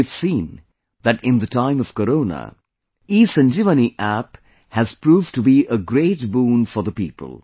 We have seen that in the time of Corona, ESanjeevani App has proved to be a great boon for the people